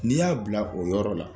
N'i y'a bila o yɔrɔ la